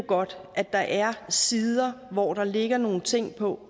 godt at der er sider hvorpå der ligger nogle ting